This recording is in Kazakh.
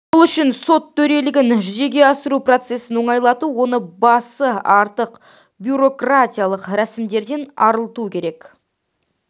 бұл үшін сот төрелігін жүзеге асыру процесін оңайлату оны басы артық бюрократиялық рәсімдерден арылту керек